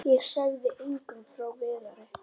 Ég sagði engum frá Viðari.